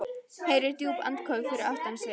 Heyrir djúp andköf fyrir aftan sig.